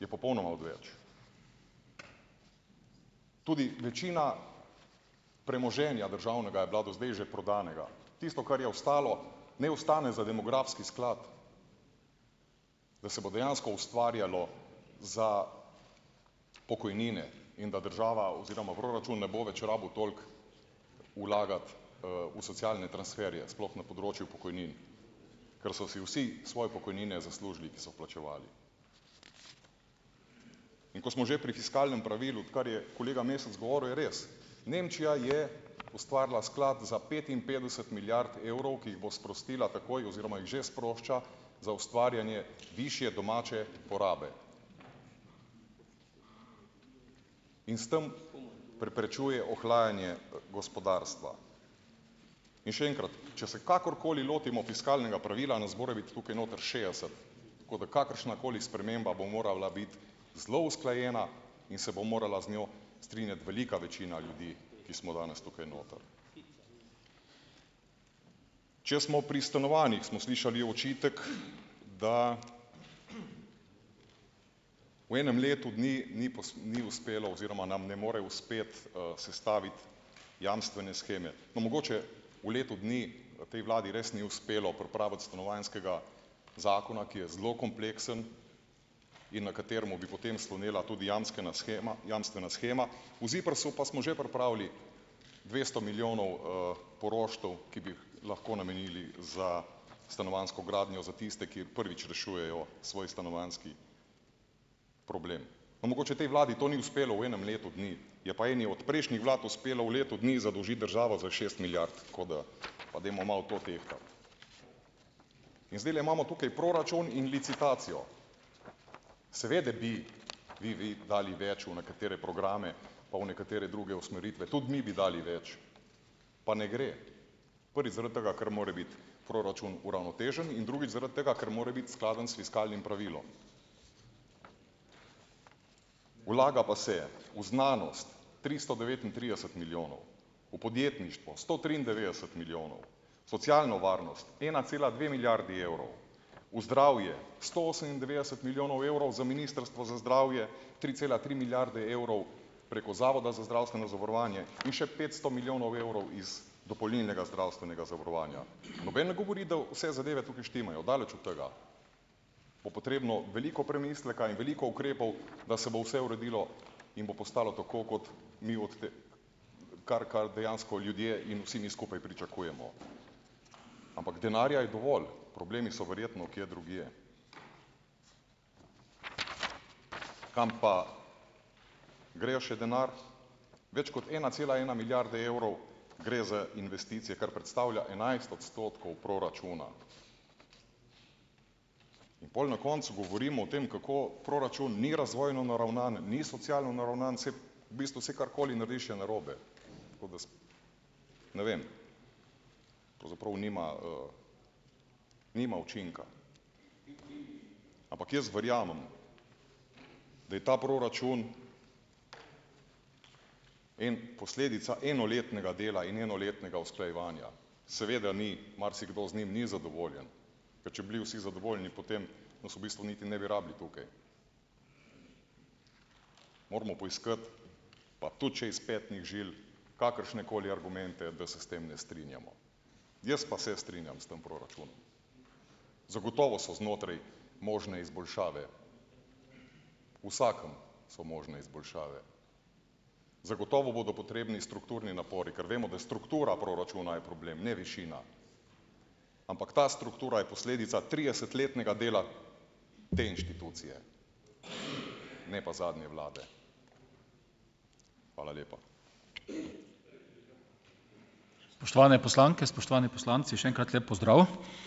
je popolnoma odveč, tudi večina premoženja državnega je bila do zdaj že prodanega, tisto, kar je ostalo, naj ostane za demografski sklad, da se bo dejansko ustvarjalo za pokojnine in da država oziroma proračun ne bo več rabil toliko vlagati, v socialne transferje sploh na področju pokojnin, ker so si vsi svoje pokojnine zaslužili, ki so plačevali, in ko smo že pri fiskalnem pravilu, odkar je kolega Mesec govoril, je res, Nemčija je ustvarila sklad za petinpetdeset milijard evrov, ki jih bo sprostila takoj oziroma jih že sprošča za ustvarjanje višje domače porabe, in s tem preprečuje ohlajanje gospodarstva, in še enkrat, če se kakorkoli lotimo fiskalnega pravila, nas more biti tukaj noter šestdeset, tako da kakršnakoli sprememba bo morala biti zelo usklajena in se bo morala z njo strinjati velika večina ljudi, ki smo danes tukaj noter, če smo pri stanovanjih, smo slišali očitek, da v enem letu dni ni ni uspelo oziroma nam ne more uspeti, sestaviti jamstvene sheme, pa mogoče v letu dni tej vladi res ni uspelo pripraviti stanovanjskega zakona, ki je zelo kompleksen in na katerem bi potem slonela tudi jamstvena shema, jamstvena shema, v ZIPRS-u pa smo že pripravili dvesto milijonov, poroštev, ki bi lahko namenili za stanovanjsko gradnjo za tiste, ki prvič rešujejo svoj stanovanjski problem, pa mogoče tej vladi to ni uspelo v enem letu dni, je pa eni od prejšnjih vlad uspelo v letu dni zadolžiti državo za šest milijard, kot da pa dajmo malo to tehtati, in zdajle imamo tukaj proračun in licitacijo, seveda bi bi vi dali več v nekatere programe, pa v nekatere druge usmeritve tudi mi bi dali več, pa ne gre, prvič zaradi tega ker more biti proračun uravnotežen in drugič zaradi tega, ker mora biti skladen s fiskalnim pravilom, vlaga pa se v znanost tristo devetintrideset milijonov v podjetništvo sto triindevetdeset milijonov socialno varnost, ena cela dve milijardi evrov v zdravje, sto osemindevetdeset milijonov evrov za ministrstvo za zdravje, tri cela tri milijarde evrov preko zavoda za zdravstveno zavarovanje in še petsto milijonov evrov iz dopolnilnega zdravstvenega zavarovanja, noben ne govori, da vse zadeve tukaj štimajo, daleč od tega, bo potrebno veliko premisleka in veliko ukrepov, da se bo vse uredilo in bo postalo tako, kot mi od te, kar, kar dejansko ljudje in vsi mi skupaj pričakujemo, ampak denarja je dovolj, problemi so verjetno kje drugje, kam pa gre še denar, več kot ena cela ena milijarde evrov gre za investicije, kar predstavlja enajst odstotkov proračuna, in pol na koncu govorimo o tem, kako proračun ni razvojno naravnan, ni socialno naravnan, v bistvu saj karkoli narediš, je narobe, ne vem, pravzaprav nima, nima učinka, ampak jaz verjamem, da je ta proračun en posledica enoletnega dela in enoletnega usklajevanja, seveda ni marsikdo z njim ni zadovoljen, ker če bi bili vsi zadovoljni, potem nas v bistvu ne bi niti rabili tukaj, moramo poiskati, pa tudi če iz petnih žil, kakršnekoli argumente, da se s tem ne strinjamo, jaz pa se strinjam s tem proračunom, zagotovo so znotraj možne izboljšave, vsakem so možne izboljšave, zagotovo bodo potrebni strukturni napori, ker vemo, da struktura proračuna je problem, ne višina, ampak ta struktura je posledica tridesetletnega dela te institucije, ne pa zadnje vlade. Hvala lepa.